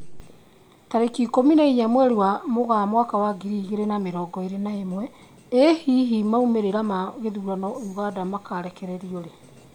Tarĩki ikũmi na inya mweri wa Mũgaa mwaka wa ngiri igĩri na mĩrongo ĩri na ĩmwe, ĩ hihi maumĩrĩra ma gĩthurano Uganda makarekererio rĩ?